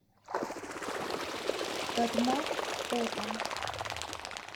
татмак фото